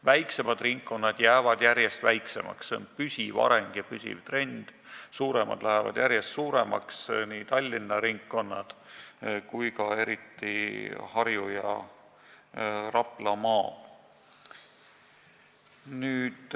Väiksemad ringkonnad jäävad järjest väiksemaks – see on püsiv areng ja püsiv trend –, suuremad lähevad järjest suuremaks, st Tallinna ringkonnad ning eriti Harju- ja Raplamaa.